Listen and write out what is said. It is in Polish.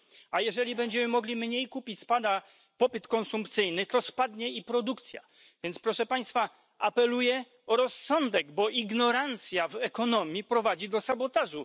A jeżeli będziemy mogli mniej kupić, spada popyt konsumpcyjny, to spadnie i produkcja, więc, proszę państwa, apeluję o rozsądek, bo ignorancja w ekonomii prowadzi do sabotażu.